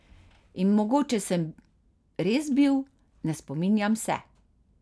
In mogoče sem res bil, ne spominjam se.